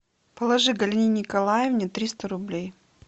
положи галине николаевне триста рублей